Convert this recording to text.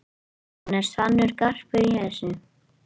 Hann er sannur garpur þessi.